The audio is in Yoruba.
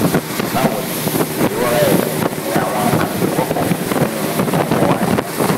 bawo ni ìrora ẹ̀yìn ni àwọn àmì tó wọ́pọ̀ nínú ọ̀pọ̀ àìsàn